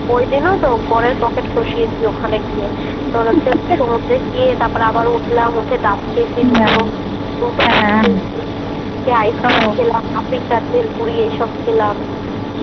ওইদিনও তো বরের পকেট খসিয়েছি ওখানে গিয়ে । তোর হচ্ছে সমুদ্রে গিয়ে তারপরে আবার উঠলাম ডাব খেয়েছি দুটো , হ্যাঁ হ্যাঁ খেয়েছি খেয়ে আইসক্রিম, খেলাম পাঁপড়ি চাট, ভেলপুরী এইসব খেলাম । খেয়ে দেয়ে